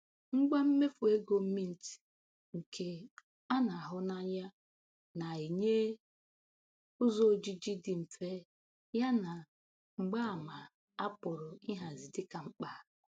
Ngwa mmefu ego Mint, nke a na-ahụ n’anya, na-enye ụzọ ojiji dị mfe yana mgbaama a pụrụ ịhazi dịka mkpa.